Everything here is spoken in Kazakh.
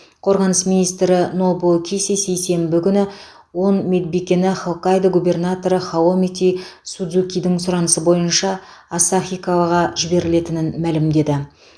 қорғаныс министрі нобуо киси сейсенбі күні он медбикені хоккайдо губернаторы наомити судзукидің сұранысы бойынша асахикаваға жіберілетінін мәлімдеді